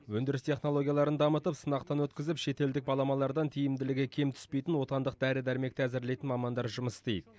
өндіріс технологияларын дамытып сынақтан өткізіп шетелдік баламалардан тиімділігі кем түспейтін отандық дәрі дәрмекті әзірлейтін мамандар жұмыс істейді